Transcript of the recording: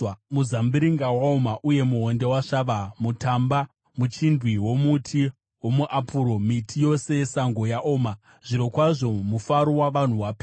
Muzambiringa waoma, uye muonde wasvava; mutamba, muchindwi nomuti womuapuro, miti yose yesango, yaoma. Zvirokwazvo, mufaro wavanhu wasvava.